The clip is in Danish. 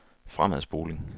fremadspoling